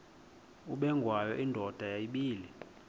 ubengwayo indoda yayibile